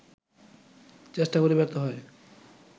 চেষ্টা করে ব্যর্থ হয়